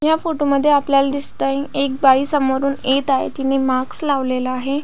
ह्या फोटोमध्ये आपल्याला दिसत आहे एक बाई समोरून येत आहे तिने मास्क लावलेला आहे.